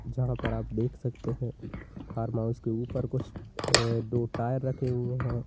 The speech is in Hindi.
यहां पर आप देख सकते हैं फार्म हाउस के ऊपर कुछ अह दो टायर रखे हुए हैं।